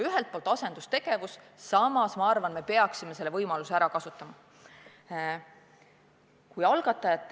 Ühelt poolt on see asendustegevus, samas ma arvan, et me peaksime selle võimaluse ära kasutama.